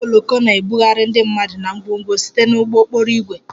Ụgbọ oloko na-ebugharị ndị mmadụ na ngwongwo site na ụgbọ okporo ígwè